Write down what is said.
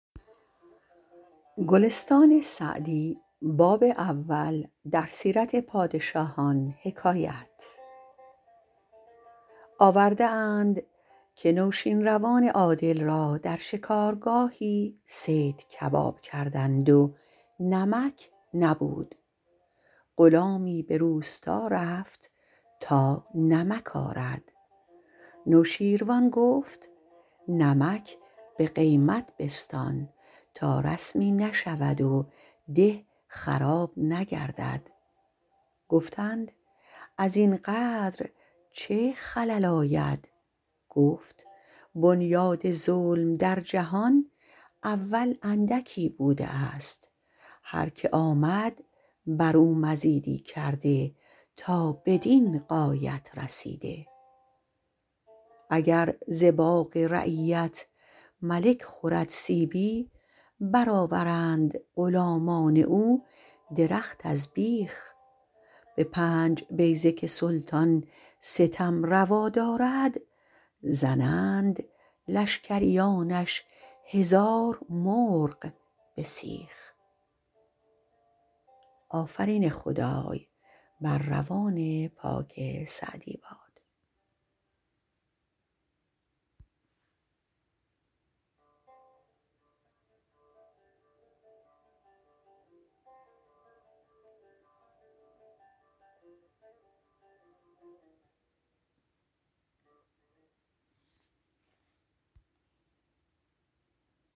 آورده اند که نوشین روان عادل را در شکارگاهی صید کباب کردند و نمک نبود غلامی به روستا رفت تا نمک آرد نوشیروان گفت نمک به قیمت بستان تا رسمی نشود و ده خراب نگردد گفتند از این قدر چه خلل آید گفت بنیاد ظلم در جهان اول اندکی بوده است هر که آمد بر او مزیدی کرده تا بدین غایت رسیده اگر ز باغ رعیت ملک خورد سیبی بر آورند غلامان او درخت از بیخ به پنج بیضه که سلطان ستم روا دارد زنند لشکریانش هزار مرغ به سیخ